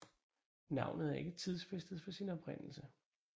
Navnet er ikke tidsfæstet for sin oprindelse